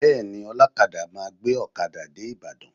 Bẹẹni, ọlọkada máa gbé ọkada dé Ibadan